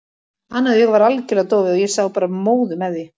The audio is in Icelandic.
Annað augað var algjörlega dofið og ég sá bara móðu með því.